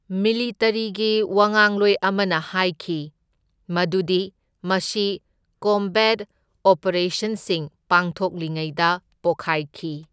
ꯃꯤꯂꯤꯇꯔꯤꯒꯤ ꯋꯥꯉꯥꯡꯂꯣꯏ ꯑꯃꯅ ꯍꯥꯢꯈꯤ ꯃꯗꯨꯗꯤ ꯃꯁꯤ ꯀꯣꯝꯕꯦꯠ ꯑꯣꯄꯔꯦꯁꯟꯁꯤꯡ ꯄꯥꯡꯊꯣꯛꯂꯤꯉꯩꯗ ꯄꯣꯈꯥꯢꯈꯤ꯫